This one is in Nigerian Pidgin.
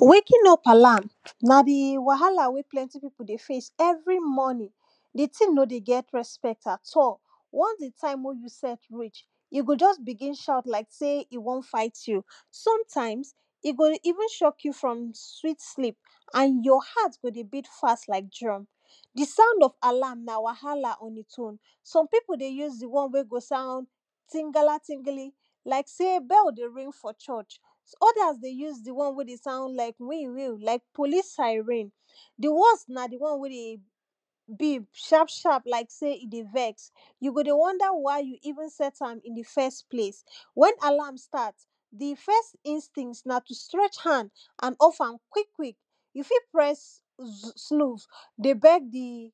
waking up alarm na di wahala wey plenty people dey face every morning. di thing nor dey get respect at all once di time wey you set am reach, e go just begin shout like sey e want fight you. sometimes, e go even shock you from sweet sleep and your heart go dey beat fast like drum. di sound of alarm na wahala on its own. some people dey use di one when dey sound tingala tingili like sey bell dey ring for church, others dey use di one wen dey shout wiu wiu like police siren. di worst na di one wey dey beep sharp sharp like sey e dey vex, you go dey wonder why you even set am in di first place. when alarm start, di first instinct na to stretch hand and off am quick quick, you fit press snooze dey beg di